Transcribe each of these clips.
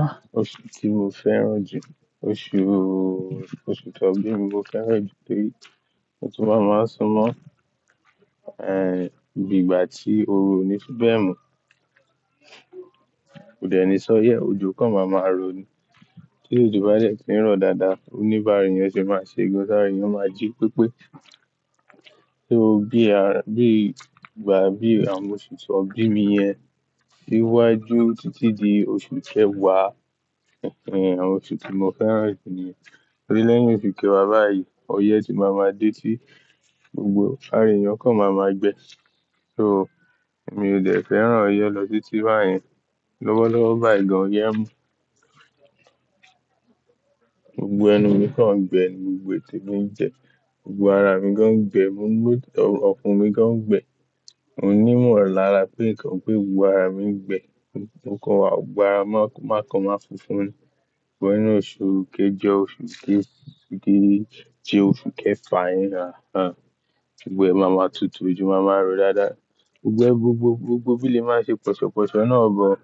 Ah! Oṣù tí mo fẹ́ràn jù, oṣùùù, oṣù ton bími mo fẹ́ràn jù torí ó tún máa máa súnmọ́, eh, ìgbà tí oru o níí fi bẹ̀ mú. Kò dẹ̀ ní ṣó yẹ, òjò kan máa máa rọ ní. Tí òjò bá dẹ̀ ti ń rọ dáadáa, oní bàrà eyan sì máa ṣe gan, tà ra eyan ó máa jí pépé. So bí i, à, bí ìgbà, bí àwọn oṣù to bími yẹn sì wá ju títí di oṣù kẹwàá, awon oṣù tí mo fẹ́ràn jù níye. Tori lẹ́yìn òṣù kéwàá báyìí, ọyẹ́ ti máa ma dé ti gbogbo ara èèyàn kan máa ma gbẹ. So mi ò dẹ̀ fẹ́ràn ọyẹ́ lọ títí báyẹn. Lọ́wọ́lọ́wọ́ báyìí gan, ọyẹ́ mú gbogbo ẹnu mi kan gbẹ ni gbogbo ètè mi ń jẹ, gbogbo ara mi gan gbẹ, gbogbo ọfun mi gan gbẹ. Mo ní ìmọ̀ràn lára pé nǹkan pé gbogbo ara mi ń gbẹ, nǹkan wà, gbogbo ara máa kọ máa funfun ni. Sugbon inú oṣù kejọ, oṣù ké, ti dé, tí oṣù kẹfà yẹn náà, ah, gbogbo ẹ máa ma tutù, òjò máa ma rọ dáadáa. Gbogbo, gbogbo, gbogbo bílẹ̀ máa ṣe pọ̀ṣọ̀pọ̀ṣọ̀ náà gbọ́n.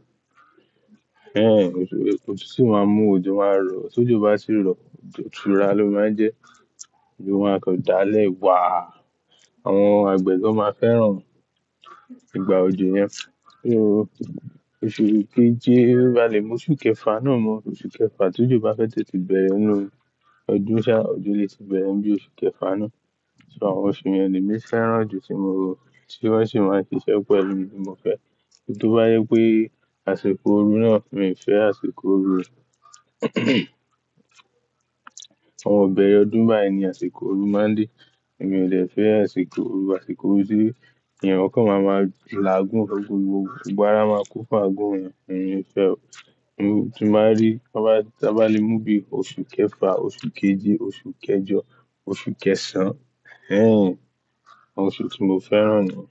Ehn, otutu máa mú òjò máa rọ. Tí òjò bá sì ń rọ, òtúrá ló máa ń jẹ́. Òjò máa kan dá lẹ̀ wá. Àwọn àgbẹ̀ gan máa fẹ́ràn ìgbà òjò yẹn. So oṣù keje, bá le mú oṣù kẹfà náà mọ́, oṣù kẹfà, tí òjò bá fẹ́ tètè bẹ̀rẹ̀ ninu, ọdún ṣá, òjò lè sì bẹ̀rẹ̀ níbi oṣù kẹfà náà. So àwọn oṣù yen lèmi fẹ́ràn jù tí mo mọ̀, tí wọ́n sì máa ń ṣiṣẹ́ pẹ̀lú mi bí mo fẹ́ ẹ. Torí tó bá yé pé àsìkò oru náà, mi ò fẹ́ àsìkò oru. Awọn ibẹ̀rẹ̀ ọdún báyìí ní àsìkò oru máa ń dé. Èmi ò dẹ̀ fẹ́ àsìkò oru. Àsìkò oru tì eyan kan máa ma la àgún fẹ́égun gbogbo. Gbogbo ara máa kó fún àgún rẹ̀. Èmi ò fẹ́ ẹ. Mo tí bá rí, ta bá lè mú bí i oṣù kẹfà, oṣù keje, oṣù kejọ, oṣù kẹsàn-án, ehin, àwọn oṣù tí mo fẹ́ràn náà.